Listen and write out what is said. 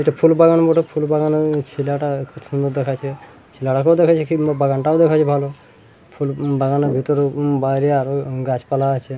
এটা ফুলবাগানের ফুলবাগা-নের ছেলেটাখুব সুন্দর দেখাচ্ছে ছেলেটাকে ও দেখাচ্ছে কিংবা ভালো বাগান টাকেও দেখাচ্ছে ভালোফুল উ-বাগানের ভিতরে উ-বাগানের ভিতরে আরো গাছ পালাও আছে।